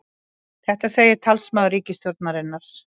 Þetta segir talsmaður ríkisstjórnarinnar